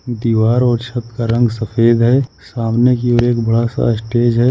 दीवार और छत का रंग सफेद है सामने की ओर एक बड़ा सा स्टेज है।